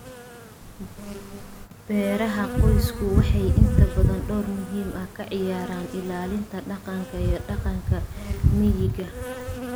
Beeraha qoysku waxay inta badan door muhiim ah ka ciyaaraan ilaalinta dhaqanka iyo dhaqanka miyiga.